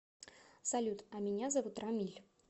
салют а меня зовут рамиль